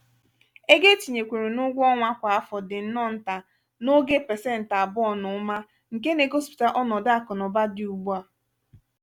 ego etinyerekwuru n'ugwọ ọnwa kwà afọ dị nnọọ nta n'oge pesenti abụọ na ụma nke na egosipụta ọnọdụ akụ na ụba dị ugbua.